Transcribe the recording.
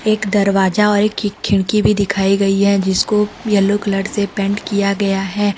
एक दरवाजा और एक खिड़की भी दिखाई गई है जिसको येलो कलर से पेंट किया गया है।